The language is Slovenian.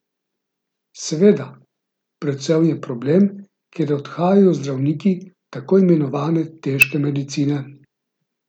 Seveda, predvsem je problem, ker odhajajo zdravniki tako imenovane težke medicine.